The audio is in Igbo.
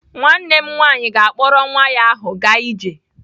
Nwanne m nwaanyị na-akpọrọ nwa ahụ gaa ije.